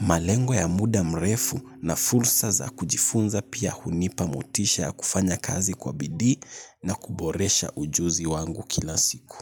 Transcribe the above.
Malengo ya muda mrefu na fursa za kujifunza pia hunipa motisha ya kufanya kazi kwa bidii na kuboresha ujuzi wangu kila siku.